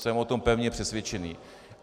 Jsem o tom pevně přesvědčen.